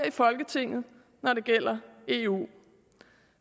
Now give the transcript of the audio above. i folketinget når det gælder eu